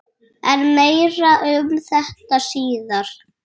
En meira um þetta síðar.